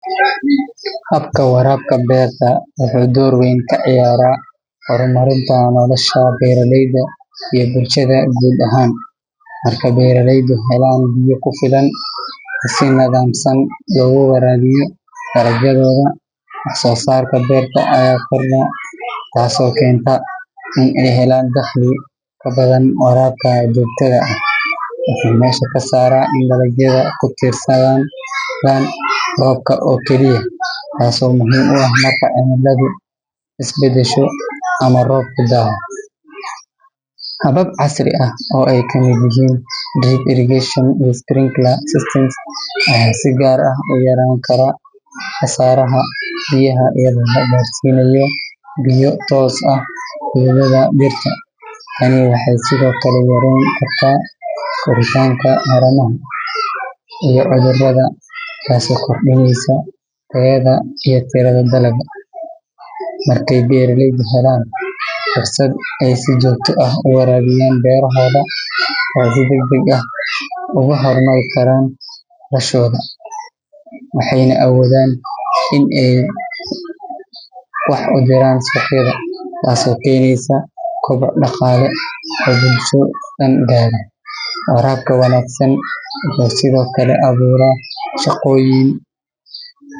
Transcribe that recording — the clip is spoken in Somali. Habka waraabka beerta wuxuu door weyn ka ciyaaraa horumarinta nolosha beeraleyda iyo bulshada guud ahaan. Marka beeraleydu helaan biyo ku filan oo si nidaamsan loogu waraabiyo dalagyadooda, wax-soo-saarka beerta ayaa kordha, taasoo keenta in ay helaan dakhli ka badan. Waraabka joogtada ah wuxuu meesha ka saaraa in dalagyadu ku tiirsanaadaan roobka oo keliya, taasoo muhiim u ah marka cimiladu is beddesho ama roobku daaho. Habab casri ah oo ay ka mid yihiin drip irrigation iyo sprinkler systems ayaa si gaar ah u yarayn kara khasaaraha biyaha iyadoo la gaarsiinayo biyo toos ah xididdada dhirta. Tani waxay sidoo kale yareyn kartaa koritaanka haramaha iyo cudurrada, taasoo kordhinaysa tayada iyo tirada dalagga. Markay beeraleydu helaan fursad ay si joogto ah u waraabiyaan beerahooda, waxay si degdeg ah ugu horumari karaan noloshooda, waxayna awoodaan in ay wax u diraan suuqyada, taasoo keenaysa koboc dhaqaale oo bulsho dhan gaara. Waraabka wanaagsan wuxuu sidoo kale abuuraa shaqooyin.